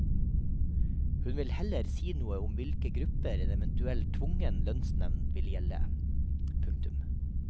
Hun vil heller ikke si noe om hvilke grupper en eventuell tvungen lønnsnevnd vil gjelde. punktum